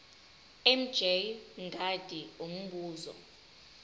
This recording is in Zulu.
mj mngadi umbuzo